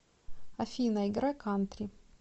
афина играй кантри